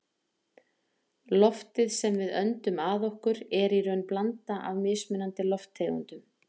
loftið sem við öndum að okkur er í raun blanda af mismunandi lofttegundum